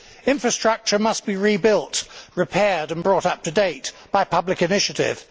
Infrastructure must be rebuilt, repaired and brought up to date by public initiative.